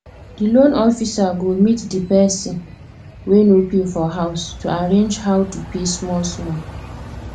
the loan officer go meet the person wey no pay for house to arrange how to pay smallsmall